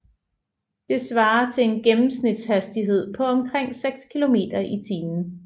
Det svarer til en gennemsnitshastighed på omkring 6 km i timen